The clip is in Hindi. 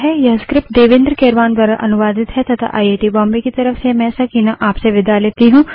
यह स्क्रिप्ट देवेन्द्र कैरवान द्वारा अनुवादित है तथा आई आई टी बॉम्बे की तरफ से मैं सकीना अब आप से विदा लेती हूँ